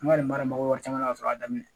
An ka nin mara mako caman na ka sɔrɔ a daminɛ